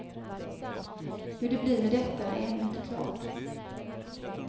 Hur det blir med detta är ännu inte klart.